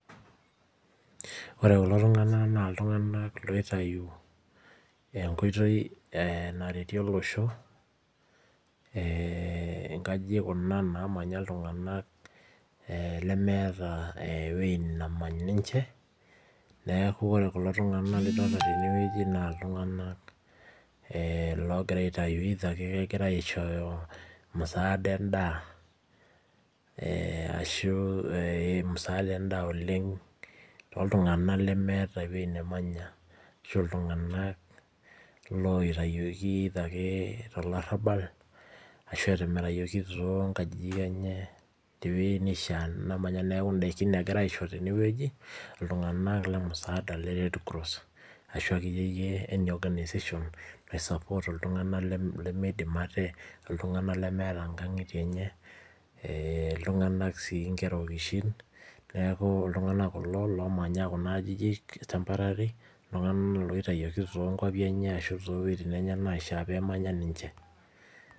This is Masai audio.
Ore kulo tung'anak naa iltung'anak loitayu enkoitoi naretie olosho, eh inkajijik kuna namanya iltung'anak lemeeta ewei nemany ninche, neeku ore kulo tung'anak lidolta tenewueji naa iltung'anak logira aitayu either ake kegirai aishooyo musaada endaa, ashu musaada endaa oleng toltung'anak lemeeta ewueji nemanya, ashu iltung'anak loitayioki either ake tolarrabal, ashu etimirayioki tonkajijik enye tewei nishaa namanya, neeku daikin egirai aisho tenewueji, iltung'anak lemusaada le Red Cross, ashu akeyieyie any organisation nai support iltung'anak lemeidim ate, iltung'anak lemeeta inkang'itie enye, iltung'anak si nkera okishin, neeku iltung'anak kulo lomanya kuna ajijik temporary, iltung'anak loitayioki tonkwapi enye ashu towueiting enye naishaa pemanya ninche.